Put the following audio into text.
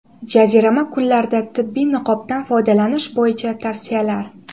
Jazirama kunlarda tibbiy niqobdan foydalanish bo‘yicha tavsiyalar.